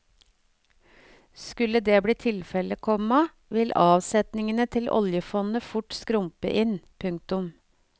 Skulle det bli tilfellet, komma vil avsetningene til oljefondet fort skrumpe inn. punktum